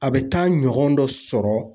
A bɛ taa ɲɔgɔn dɔ sɔrɔ.